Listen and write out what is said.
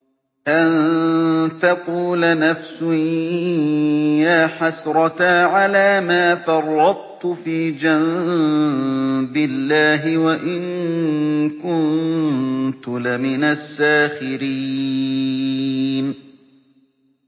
أَن تَقُولَ نَفْسٌ يَا حَسْرَتَا عَلَىٰ مَا فَرَّطتُ فِي جَنبِ اللَّهِ وَإِن كُنتُ لَمِنَ السَّاخِرِينَ